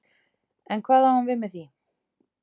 En hvað á hann við með því?